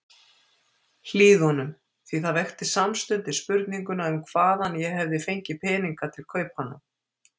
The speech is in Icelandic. Hlíðunum, því það vekti samstundis spurninguna um hvaðan ég hefði fengið peninga til kaupanna.